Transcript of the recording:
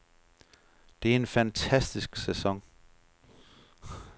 Det er en fantastisk sæson.